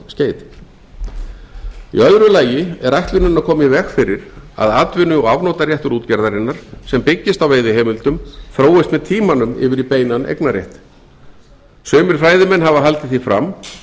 í öðru lagi er ætlunin að koma í veg fyrir að atvinnu og afnotaréttur útgerðarinnar sem byggist á veiðiheimildum þróist með tímanum yfir í beinan eignarrétt sumir fræðimenn hafa haldið því fram